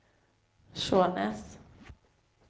Skjånes